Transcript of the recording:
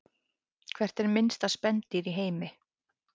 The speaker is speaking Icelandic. Hvert er minnsta spendýr í heimi?